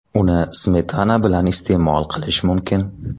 Uni smetana bilan iste’mol qilish mumkin.